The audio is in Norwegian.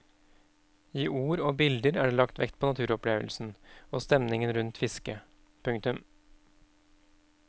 I ord og bilder er det lagt vekt på naturopplevelsen og stemningen rundt fisket. punktum